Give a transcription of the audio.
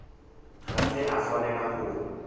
ga se a swanela go